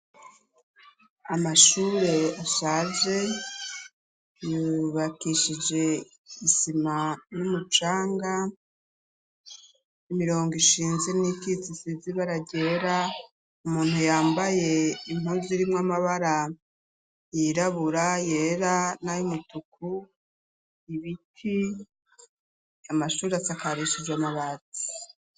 Amashure ashaje yubakishije isima n'umucanga imirongo ishinze n'ikitsisizi baragera umuntu yambaye impuzu rimwo amabara yirabura yera nayo umutuku ibiti amashuriatsi akarishije amabazi.